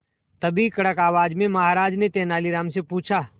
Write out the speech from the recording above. तभी कड़क आवाज में महाराज ने तेनालीराम से पूछा